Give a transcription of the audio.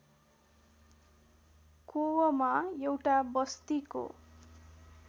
कोवमा एउटा बस्तीको